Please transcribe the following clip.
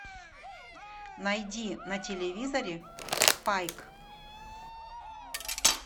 найди на телевизоре спайк